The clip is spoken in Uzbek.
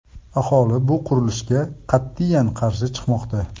Aholi bu qurilishga qat’iyan qarshi chiqmoqda.